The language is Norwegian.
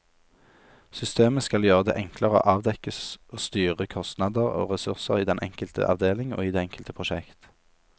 Systemet skal gjøre det enklere å avdekke og styre kostnader og ressurser i den enkelte avdeling og i det enkelte prosjekt.